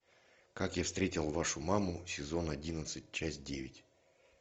как я встретил вашу маму сезон одиннадцать часть девять